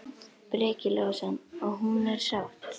Breki Logason: Og er hún sátt?